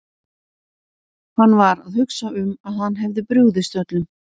Hann var að hugsa um að hann hefði brugðist öllum.